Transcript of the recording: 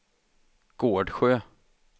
Gårdsjö